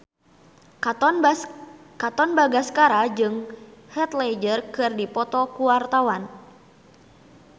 Katon Bagaskara jeung Heath Ledger keur dipoto ku wartawan